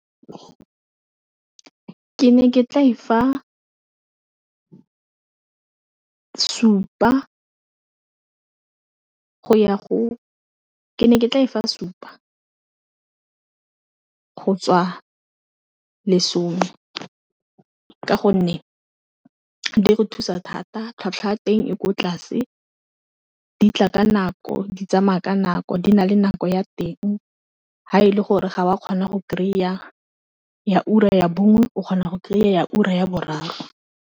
Ke ne ke tla e fa supa ka go tswa lesome ka gonne di re thusa thata tlhwatlhwa ya teng e kwa tlase, di tla ka nako, di tsamaya ka nako, di na le nako ya teng ha e le gore ga wa kgona go kry-a ya ura ya bongwe o kgona go kry-a ya ura ya boraro.